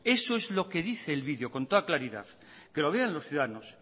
eso es lo que dice el video con toda claridad que lo vean los ciudadanos